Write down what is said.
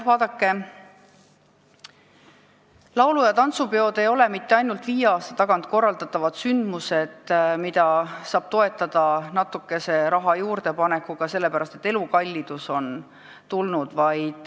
Vaadake, laulu- ja tantsupeod ei ole mitte ainult viie aasta tagant korraldatavad sündmused, mida saab toetada natukese raha juurdepanekuga, sellepärast, et elu on kallimaks läinud.